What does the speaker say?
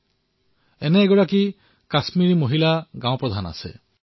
তেওঁৰ দৰে আৰু এগৰাকী কাশ্মিৰী মহিলা পঞ্চায়তৰ মুৰব্বী আছে